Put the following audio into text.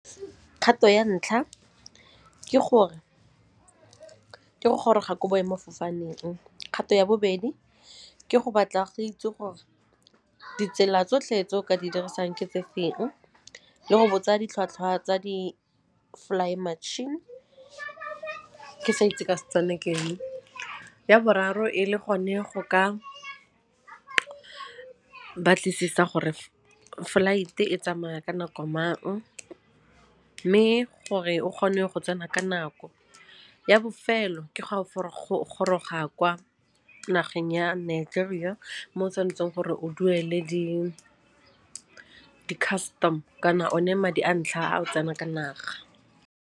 Kgato ya ntlha ke gore, ke goroga ko boemafofaneng. Kgato ya bobedi ke go batla go itse gore ditsela tsotlhe tse o ka di dirisang ke tse feng le go botsa ditlhwatlhwa tsa di-fly matšhini, ke sa itse ka Setswana ke eng. Ya boraro e le gone go ka batlisisa gore flight-e e tsamaya ka nako mang mme gore o kgone go tsena ka nako. Ya bofelo ke fa o goroga kwa nageng ya Nigeria mo o tshwanetseng gore o duele di-custom kana o ne madi a ntlha ao tsena ka naga.